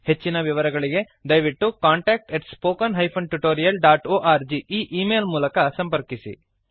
ಹೆಚ್ಚಿನ ವಿವರಗಳಿಗೆ ದಯವಿಟ್ಟು contactspoken tutorialorg ಈ ಈ ಮೇಲ್ ಮೂಲಕ ಸಂಪರ್ಕಿಸಿ